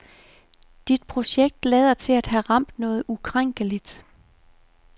Dit projekt lader til at have ramt noget ukrænkeligt.